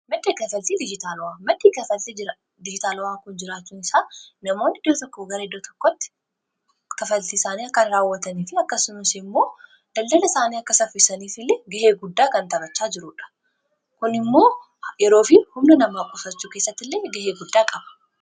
made kafaltii madii kafaltii dijitaalawaa kun jiraachuun isaa namoonni ida tokko garaidda tokkotti kafaltii isaanii akkan raawwataniifi akkasumisi immoo daldala isaanii akka saffisaniif illee gahee guddaa kan tabachaa jiruudha kun immoo yeroofi humna namaa qosachuu keessatti illee gahee guddaa qaba